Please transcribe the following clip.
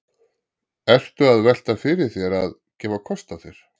Ertu að velta því fyrir þér að, að gefa kost á þér?